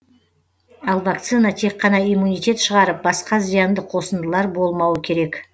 ал вакцина тек қана иммунитет шығарып басқа зиянды қосындылар болмауы керек